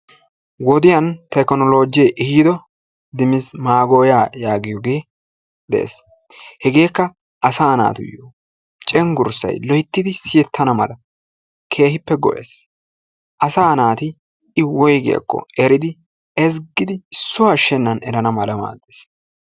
Wodiyan tekinoloojjee ehiido dimitsi maagoyaa yaagiyogee dees. Hegeekka asaa naatuyyo cenggurssay loyttidi siyettana mala keehippe go"ees. Asaa naati I woygiyakko eridi ezggidi issuwa ashshennan erana mala maaddees.